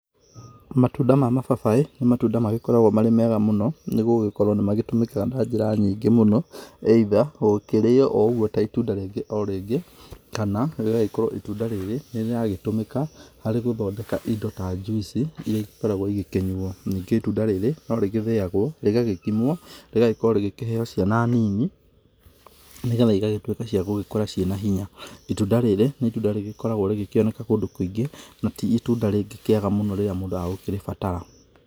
Matunda ma mababaĩ, nĩ matunda magĩkoragwo me mega mũno nĩgũgĩkorwo nĩmatũmĩkaga na njĩra nyingĩ mũno. Either gũkĩrĩo o ũguo ta itunda rĩngĩ o rĩngĩ, kana rĩgagĩkorwo itunda rĩrĩ nĩrĩragĩtũmĩka harĩ gũthondeka indo ta njuici iria igĩkoragwo igĩkĩnywo. Ningĩ itunda rĩrĩ, norĩgĩthĩagwo rĩgagĩkimwo, rĩgagĩkorwo rĩgĩkĩheo ciana nini, nĩgetha igagĩtuĩka cia gũgĩkũra ciĩ na hinya. Itunda rĩrĩ, nĩ itunda rĩgĩkoragwo rĩgĩkĩoneka kũndũ kũingĩ, na ti itunda rĩngĩkĩaga mũno, rĩrĩa mũndũ agũkĩrĩbatara.